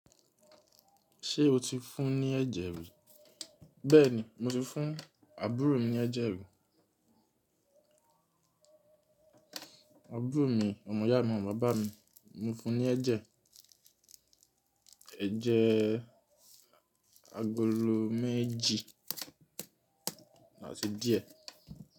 Ṣé o ti fún ní ẹ́jẹ rí? Bẹ́ẹ̀ni, mo ti fún àbúrò mi ní ẹ́jẹ rí. Àbúrò mi ọmọ ìyá mi ọmọ bàbá mi, mo fún ní ẹ́jẹ, ẹ́jẹ agolo méjì áti díẹ̀.